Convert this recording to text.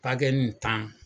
nin tan